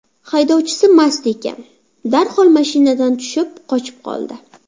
Haydovchisi mast ekan, darhol mashinadan tushib qochib qoldi.